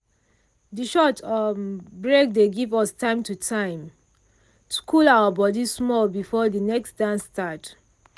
de short um break dey give us time to time to cool our body small before de next dance start.